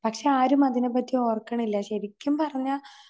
പക്ഷെ ആരും അതിനെപ്പറ്റി ഓർക്കണില്ല. ശരിക്കും പറഞ്ഞ